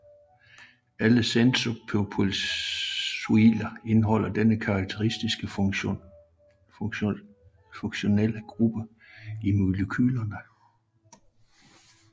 Alle sennepsolier indeholder denne karakteristiske funktionelle gruppe i molekylerne